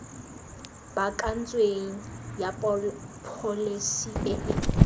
baakantsweng ya pholesi e e